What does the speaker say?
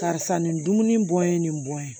Karisa nin dumuni bɔ ye nin bɔn ye